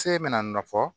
Se bɛna nɔ fɔ